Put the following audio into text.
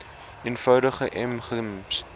eenvoudig m gems